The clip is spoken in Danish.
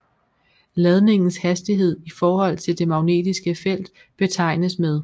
Ladningens hastighed i forhold til det magnetiske felt betegnes med